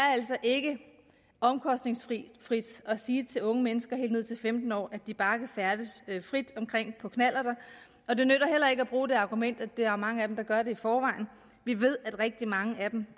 altså ikke er omkostningsfrit at sige til unge mennesker helt ned til femten år at de bare kan færdes frit omkring på knallert og det nytter heller ikke at bruge det argument at der er mange af dem der gør det i forvejen vi ved at rigtig mange af dem